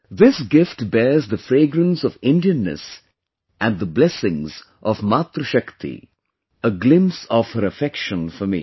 This gift bears the fragrance of Indianness and the blessings of MatriShakti a glimpse of her affection for me